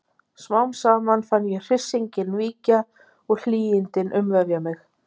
Smám saman fann ég hryssinginn víkja og hlýindin umvefja mig.